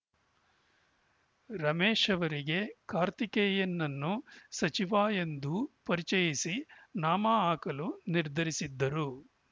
ರಮೇಶ್‌ ಅವರಿಗೆ ಕಾರ್ತೀಕೇಯನ್‌ನನ್ನು ಸಚಿವ ಎಂದೂ ಪರಿಚಯಿಸಿ ನಾಮ ಹಾಕಲು ನಿರ್ಧರಿಸಿದ್ದರು